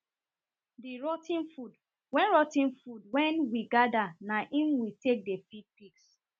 the rot ten food wen rot ten food wen we gather na im we take dey feed pigs